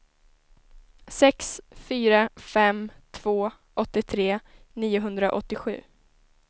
sex fyra fem två åttiotre niohundraåttiosju